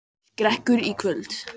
Skrekkur í kvöld